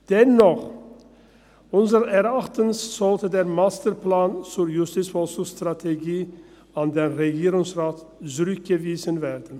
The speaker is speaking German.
Dennoch: Unseres Erachtens sollte der Masterplan zur JVS an den Regierungsrat zurückgewiesen werden.